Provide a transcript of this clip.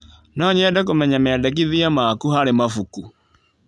No nyende kũmenya mendekithia maku harĩ mabuku.